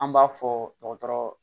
An b'a fɔ dɔgɔtɔrɔ